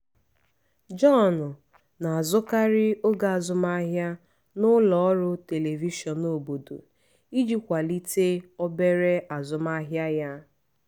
john na-azụkarị oge azụmahịa na ụlọ ọrụ telivishọn obodo iji kwalite obere azụmahịa ya.